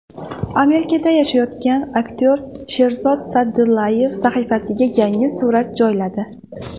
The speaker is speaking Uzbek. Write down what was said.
Amerikada yashayotgan aktyor Sherzod Saidaliyev sahifasiga yangi surat joyladi.